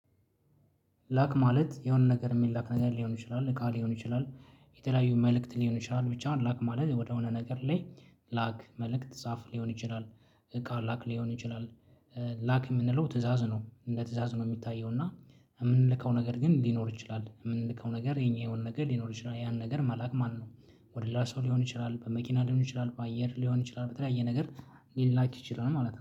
ላክ ማለት የሆነ ነገር የሚላክ ነገር ሊሆን ይችላል እቃ ሊሆን ይችላል የተለያዩ መልእክት ሊሆን ይችላል ብቻ ላክ ማለት ወደሆነ ነገር ላይ ላክ መልክት ጻፍ ሊሆን ይችላል እቃ ላክ ሊሆን ይችላል። ላክ የምንለው ትእዛዝ ነው እንደ ትእዛዝ ነው የሚታየው። እና የምንልከው ነገር ግን ሊኖር ይችላል የምንልከው ነገር የኛ የሆነ ነገር ሊኖር ይችላል ያን ነገር መላክ ማለት ነው። ወደ ሌላ ሰው ሊሆን ይችላል በመኪና ሊሆን ይችላል በአየር ሊሆን ይችላል በተለያየ ነገር ሊላክ ይችላል ማለት ነው